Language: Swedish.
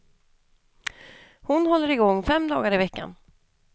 Hon håller igång fem dagar i veckan.